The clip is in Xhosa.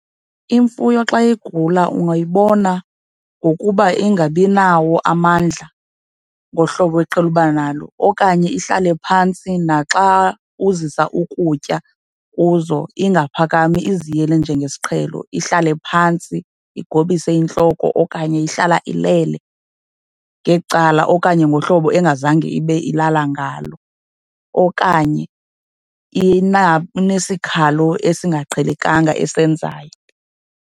Imfuyo xa igula ungayibona ngokuba ingabi nawo amandla ngohlobo eqhele uba nalo okanye ihlale phantsi, naxa uzisa ukutya kuzo ingaphakami iziyele njengesiqhelo, ihlale phantsi igobise intloko okanye ihlala ilele ngecala okanye ngohlobo engazange ibe ilala ngalo, okanye inesikhalo esingaqhelekanga esenzayo.